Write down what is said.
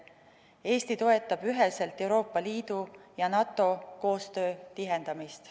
Eesti toetab üheselt Euroopa Liidu ja NATO koostöö tihendamist.